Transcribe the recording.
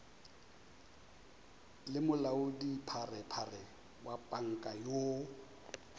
le molaodipharephare wa panka yoo